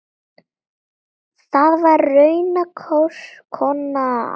Það var raunar konan hans.